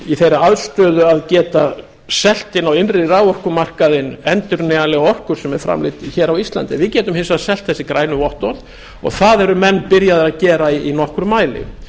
í þeirri aðstöðu að geta selt inn á innri raforkumarkaðinn endurnýjanlega orku sem er framleidd hér á íslandi við getum hins vegar selt þessi grænu vottorð og það eru menn byrjaðir að gera í nokkrum mæli